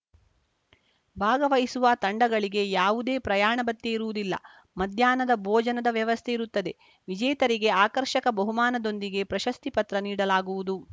ಭಾಗವಹಿಸುವ ತಂಡಗಳಿಗೆ ಯಾವುದೇ ಪ್ರಯಾಣ ಭತ್ಯೆ ಇರುವುದಿಲ್ಲ ಮಧ್ಯಾಹ್ನದ ಭೋಜನದ ವ್ಯವಸ್ಥೆ ಇರುತ್ತದೆ ವಿಜೇತರಿಗೆ ಆಕರ್ಷಕ ಬಹುಮಾನದೊಂದಿಗೆ ಪ್ರಶಸ್ತಿ ಪತ್ರ ನೀಡಲಾಗುವುದು